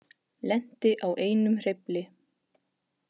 Lenti á einum hreyfli